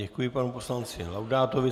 Děkuji panu poslanci Laudátovi.